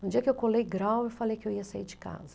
No dia que eu colei grau, eu falei que eu ia sair de casa.